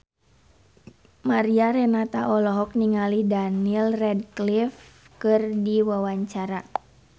Mariana Renata olohok ningali Daniel Radcliffe keur diwawancara